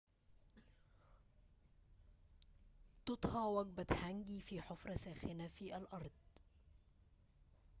تُطهى وجبة هانجي في حفرة ساخنة في الأرض